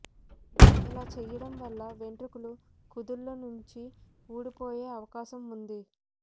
ఇలా చేయడం వల్ల వెంట్రుకలు కుదుళ్ల నుంచి ఊడిపోయే అవకాశం ఉంది